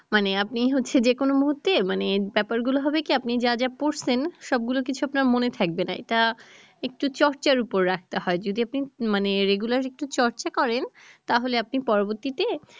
মানে আপনি হচ্ছে যে কোনো মুহূর্তে মানে ব্যাপার গুলা হবে কি আপনি যা যা পড়ছেন সবগুলা কিছু আপনার মনে থাকবে না তা একটু চর্চার উপর রাখতে হয় যদি আপনি মানে regular একটু চর্চা করেন তাহলে আপনি পরবর্তীতে